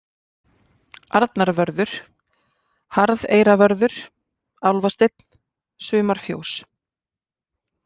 Arnarvörður, Harðeyravörður, Álfasteinn, Sumarfjós